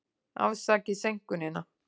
Afsakið seinkunina.